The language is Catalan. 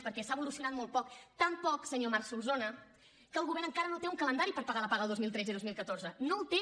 perquè s’ha evolucionat molt poc tan poc senyor marc solsona que el govern encara no té un calendari per pagar la paga del dos mil tretze i dos mil catorze no el té